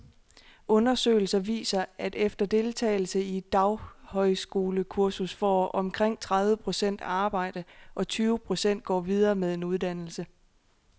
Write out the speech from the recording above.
Undersøgelser viser, at efter deltagelse i et daghøjskolekursus får omkring tredive procent arbejde, og tyve procent går videre med en uddannelse.